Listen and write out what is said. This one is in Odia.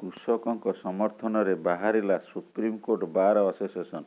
କୃଷକଙ୍କ ସମର୍ଥନରେ ବାହାରିଲା ସୁପ୍ରିମକୋର୍ଟ ବାର୍ ଆସୋସିଏସନ